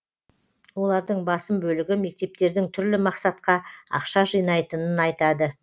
олардың басым бөлігі мектептердің түрлі мақсатқа ақша жинайтынын айтады